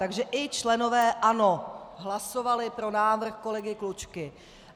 Takže i členové ANO hlasovali pro návrh kolegy Klučky.